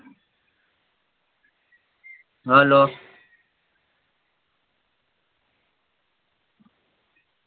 hello